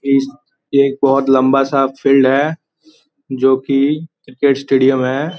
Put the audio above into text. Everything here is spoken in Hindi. ये एक बहुत लंबा सा फील्ड है जो कि क्रिकेट स्टेडियम है|